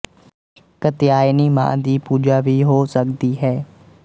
ਕਤਿਆਯਨੀ ਮਾਂ ਦੀ ਪੂਜਾ ਵੀ ਹੋ ਸਕਦੀ ਹੈ